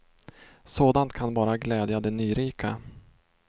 Sådant kan bara glädja de nyrika.